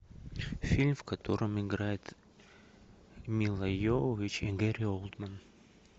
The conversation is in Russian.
фильм в котором играет мила йовович и гэри олдмен